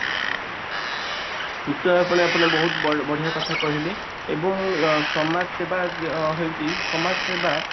ନିଶ୍ଚୟ ଆପଣ ଆପଣ ବହୁତ ବଡ ବଢିୟା କଥା କହିଲେ ଏବଂ ସମାଜ ସେବା ହେଉଛି ସମାଜସେବା